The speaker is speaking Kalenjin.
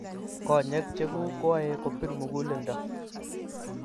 konyek cheguk koae kopir muguleldo